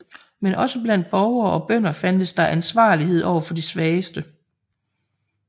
Men også blandt borgere og bønder fandtes der en ansvarlighed overfor de svageste